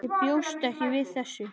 Ég bjóst ekki við þessu.